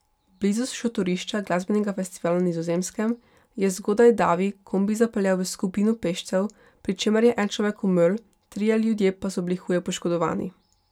Blizu šotorišča glasbenega festivala na Nizozemskem je zgodaj davi kombi zapeljal v skupino peščev, pri čemer je en človek umrl, trije ljudje pa so bili huje poškodovani.